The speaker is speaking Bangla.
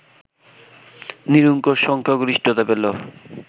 নিরঙ্কুশ সংখ্যাগরিষ্ঠতা পেল